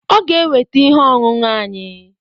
Ọ ga-eweta ihe ọṅụṅụ anyị